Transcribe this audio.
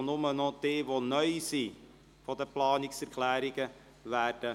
Das Wort wird nur erteilt, wenn Anträge bezüglich Planungserklärungen neu sind.